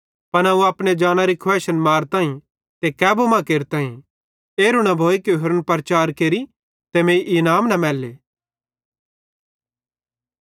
पन अवं अपने जानरी खुवैइशन मारताईं ते कैबू मां केरताईं एरू न भोए कि होरन प्रचार केरि ते मीं इनाम न मैलेले